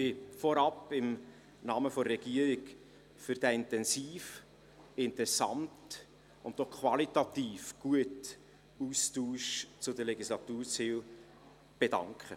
Ich möchte mich vorneweg im Namen der Regierung für diesen intensiven, interessanten und auch qualitativ guten Austausch zu den Legislaturzielen bedanken.